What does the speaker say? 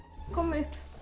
komum upp